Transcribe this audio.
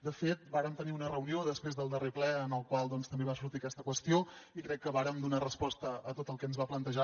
de fet vàrem tenir una reunió després del darrer ple en el qual també va sortir aquesta qüestió i crec que vàrem donar resposta a tot el que ens va plantejar